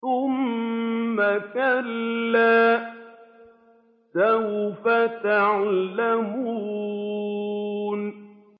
ثُمَّ كَلَّا سَوْفَ تَعْلَمُونَ